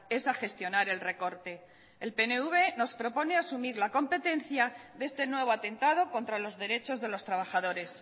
es a gestionar el recorte el pnv nos propone asumir la competencia de este nuevo atentado contra los derechos de los trabajadores